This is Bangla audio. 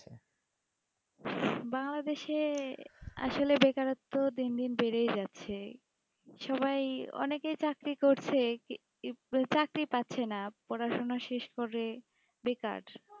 বাংলাদেশের আসলে বেকারত্ব দিন দিন বেড়েই যাচ্ছে সবাই অনেকেই চাকরি করছে চাকরি পাচ্ছে না পড়াশোনা শেষ করে বেকার